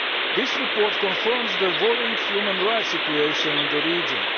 This report confirms the worrying human rights situation in the region.